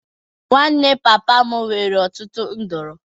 Nwanne papa m nwere ọtụtụ nduru.